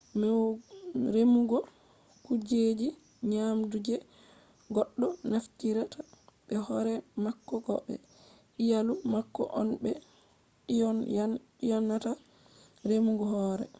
remugo kujeji nyamdu je goɗɗo naftirta be hore mako ko be iyalu mako on ɓe ɗyonata remungo hore